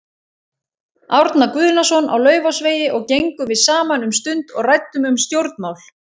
Árna Guðnason á Laufásvegi og gengum við saman um stund og ræddum um stjórnmál.